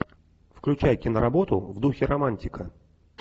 включай киноработу в духе романтика